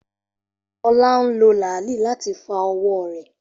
Ola n lo laali lati fa owo re.